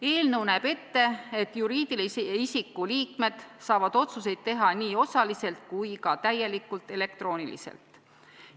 Eelnõu näeb ette, et juriidilise isiku liikmed saavad otsuseid teha nii osaliselt kui ka täielikult elektrooniliselt.